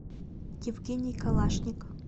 евгений калашников